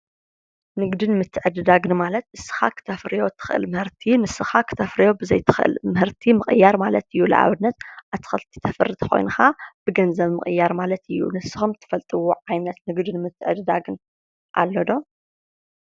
ንግድን ምትዕድዳግን ማለት ንስካ ክተፍርዮም እትኽል ምህርቲ ንስኻ ክተፍርዮ ብዘይትኽእል ምህርቲ ምቅያር ማለት እዩ። ንኣብነት ኣትኽልቲ ተፍሪ ተኾይንካ ብገንዘብ ምቅያር ማለት እዩ። ንስኹም ትፈልጥዎ ዓይነት ምህርቲ ንግድን ምትዕድዳግን ኣሎ ዶ?